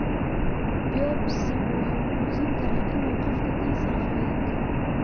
Biobsigu wuxuu muujin karaa in qofku kansar qabo iyo in kale.